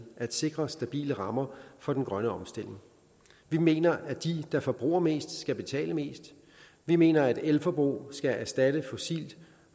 at sikre stabile rammer for den grønne omstilling vi mener at de der forbruger mest skal betale mest vi mener at elforbrug skal erstatte fossilt